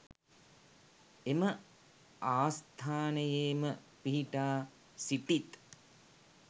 එම ආස්ථානයේ ම පිහිටා සිටිත්.